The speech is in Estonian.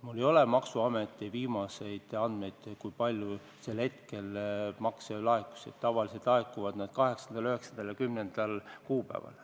Mul ei ole maksuameti viimaseid andmeid, kui palju selleks hetkeks makse laekus, sest tavaliselt laekuvad need 8., 9. ja 10. kuupäeval.